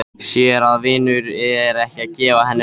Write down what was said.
Sér að vinurinn er að gefa henni auga.